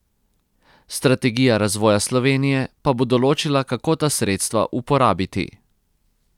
Strategija razvoja Slovenije pa bo določila, kako ta sredstva uporabiti.